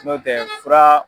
N'o tɛ fura.